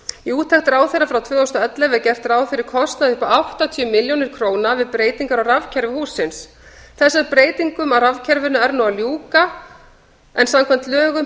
í úttekt ráðherra frá tvö þúsund og ellefu er gert ráð fyrir kostnaði upp á áttatíu milljónir króna við breytingar á rafkerfi hússins þessum breytingum á rafkerfinu er nú að ljúka en samkvæmt lögum